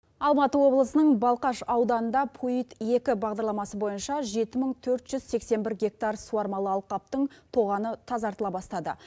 алматы облысының балқаш ауданында пуид екі бағдарламасы бойынша жеті мың төрт жүз сексен бір гектар суармалы алқаптың тоғаны тазартыла бастады